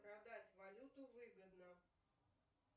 продать валюту выгодно